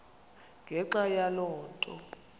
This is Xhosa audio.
ngenxa yaloo nto